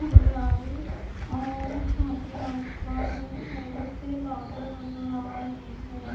नहीं आ रही और यहां पे आसमान में थोड़े से बादल नजर आ रहे हैं।